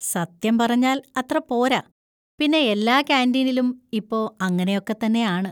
സത്യം പറഞ്ഞാൽ അത്ര പോരാ, പിന്നെ എല്ലാ കാന്‍റീനിലും ഇപ്പൊ അങ്ങനെ ഒക്കെ തന്നെയാണ്.